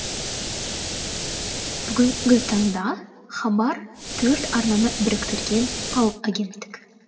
бүгінгі таңда хабар төрт арнаны біріктірген алып агенттік